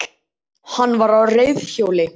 Hann var á reiðhjóli